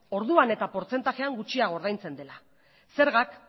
orduan eta portzentaian gutxiago ordaintzen dela zergak